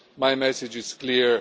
My message is clear.